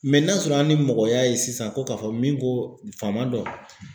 n'a sɔrɔ an ni mɔgɔ y'a ye sisan ko ka fɔ min ko faama don